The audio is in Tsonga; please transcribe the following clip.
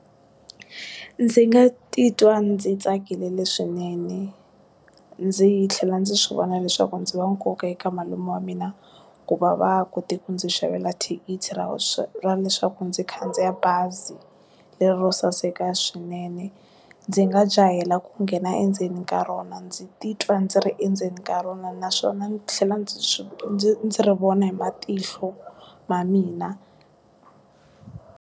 Ndzi nga titwa ndzi tsakile leswinene ndzi tlhela ndzi swi vona leswaku ndzi wa nkoka eka malume wa mina ku va va kote ku ndzi xavela thikithi ra swa ra leswaku ndzi khandziya bazi le ro saseka swinene ndzi nga jahela ku nghena endzeni ka rona ndzi titwa ndzi ri endzeni ka rona naswona ni tlhela ndzi swi ndzi ndzi ri vona hi matihlo ma mina.